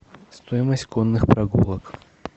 стоимость конных прогулок